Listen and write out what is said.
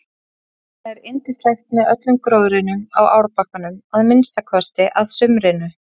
Þarna er yndislegt með öllum gróðrinum á árbakkanum að minnsta kosti að sumrinu.